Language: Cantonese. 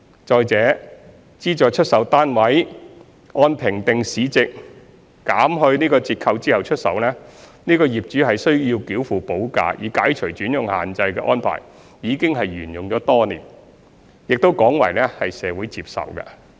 再者，資助出售單位按評定市值減去折扣後出售，業主須繳付補價以解除轉讓限制的安排已沿用多年，廣為社會接受。